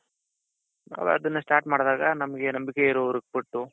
ನಾವದನ್ನ start ಮಾಡ್ದಾಗ ನಮ್ಗೆ ನಂಬಿಕೆ ಇರೋರಿಗೆ ಕೊಟ್ಟು.